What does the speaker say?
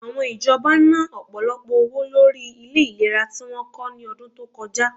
Àwọn ìjọba na, ọ̀pọ̀lọpọ̀ owó lórí ilẹ ìlera tí wọ́n kọ́ ní ọdún tó kọjá